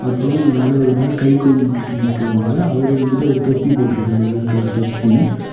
அப்றம் அதுல ஒரு ஆள் கை கும்பிட்டு நிக்காங்க அவர் வந்துட்டு ஒரு தொப்பி போட்டுருக்கார் வெள்ள கலர் தொப்பி.